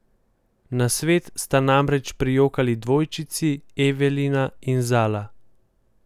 Na svet sta namreč prijokali dvojčici Evelina in Zala.